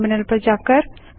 terminal पर जाएँ